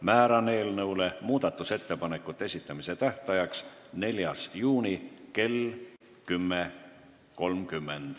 Määran muudatusettepanekute esitamise tähtajaks 4. juuni kell 10.30.